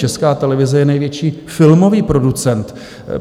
Česká televize je největší filmový producent.